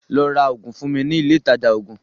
Lọ́ rá oògùn fún mi ní ilé Ilé ìtajà oògùn!